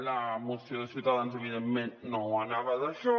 la moció de ciutadans evidentment no anava d’això